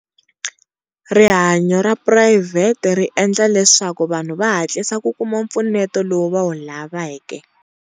Rihanyo ra private ri endla leswaku vanhu va hatlisa ku kuma pfuneto lowu va wu lavake.